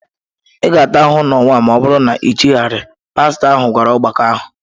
Ị ga-ata ahụhụ n'ụwa ma ọ bụrụ na i chegharịghị, pastọ ahụ gwara ọgbakọ ahụ.